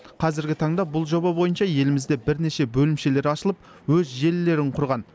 қазіргі таңда бұл жоба бойынша елімізде бірнеше бөлімшелер ашылып өз желілерін құрған